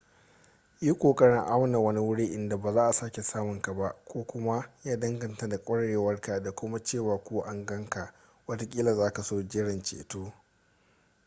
yi ƙoƙarin auna wani wuri inda ba za a sake samun ka ba ko kuma ya danganta da ƙwarewarka da kuma cewa ko an gan ka watakila za ka so jiran ceto